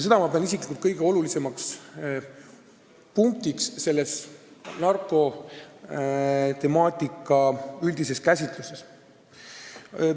Seda ma pean isiklikult kõige olulisemaks punktiks narkotemaatika üldises käsitluses.